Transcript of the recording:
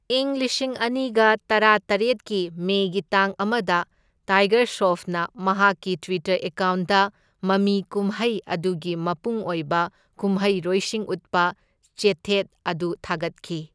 ꯏꯪ ꯂꯤꯁꯤꯡ ꯑꯅꯤꯒ ꯇꯔꯥꯇꯔꯦꯠꯀꯤ ꯃꯦꯒꯤ ꯇꯥꯡ ꯑꯃꯗ, ꯇꯥꯏꯒꯔ ꯁ꯭ꯔꯣꯐꯅ ꯃꯍꯥꯛꯀꯤ ꯇ꯭ꯋꯤꯇꯔ ꯑꯦꯀꯥꯎꯟꯠꯗ ꯃꯃꯤ ꯀꯨꯝꯍꯩ ꯑꯗꯨꯒꯤ ꯃꯄꯨꯡ ꯑꯣꯏꯕ ꯀꯨꯝꯍꯩꯔꯣꯏꯁꯤꯡ ꯎꯠꯄ ꯆꯦꯊꯦꯠ ꯑꯗꯨ ꯊꯥꯒꯠꯈꯤ꯫